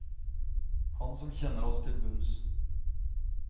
Han som kjenner oss til bunns.